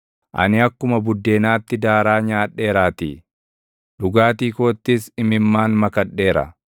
Ani akkuma buddeenaatti daaraa nyaadheeraattii; dhugaatii koottis imimmaan makadheera;